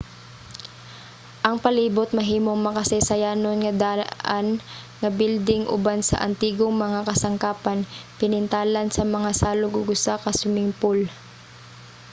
ang palibot mahimong makasaysayanon nga daan nga bilding uban sa antigong mga kasangkapan pinintalan nga mga salog ug usa ka swimming pool